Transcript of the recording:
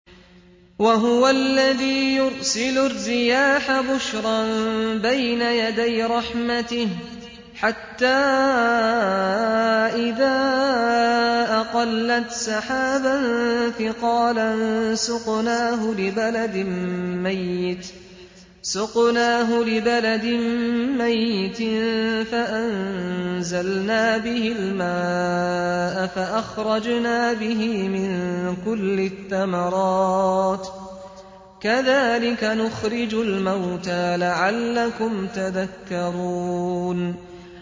وَهُوَ الَّذِي يُرْسِلُ الرِّيَاحَ بُشْرًا بَيْنَ يَدَيْ رَحْمَتِهِ ۖ حَتَّىٰ إِذَا أَقَلَّتْ سَحَابًا ثِقَالًا سُقْنَاهُ لِبَلَدٍ مَّيِّتٍ فَأَنزَلْنَا بِهِ الْمَاءَ فَأَخْرَجْنَا بِهِ مِن كُلِّ الثَّمَرَاتِ ۚ كَذَٰلِكَ نُخْرِجُ الْمَوْتَىٰ لَعَلَّكُمْ تَذَكَّرُونَ